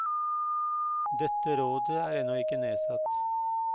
Dette rådet er ennå ikke nedsatt.